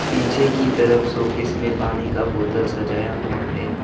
पीछे की तरफ शोकेस में पानी का बोतल सजाया हुआ है।